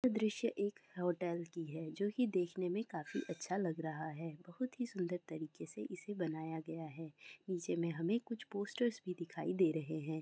ये दृश्य एक होटल की है जो देखने में काफी अच्छा लग रहा है बहुत ही सुंदर तरीके से इसे बनाया गया है नीचे में हम कुछ पोस्टर ही दिखाई दे रहे है ।